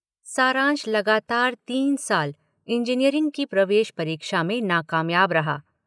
सारांश लगातार तीन साल इंजीनियरिंग की प्रवेश परीक्षा में नाकामयाब रहा।